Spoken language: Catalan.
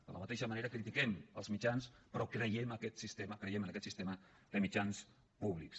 de la mateixa manera critiquem els mitjans però creiem en aquest sistema de mitjans públics